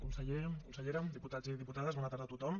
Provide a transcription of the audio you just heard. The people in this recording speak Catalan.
conseller consellera diputats i diputades bona tarda a tothom